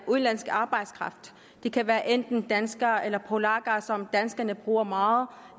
udenlandsk arbejdskraft det kan være enten danskere eller polakker som danskerne bruger meget